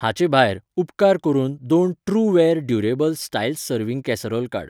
हाचे भायर, उपकार करून दोन Trueware durable styles serving casserole काड.